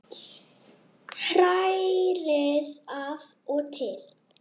Hrærið af og til.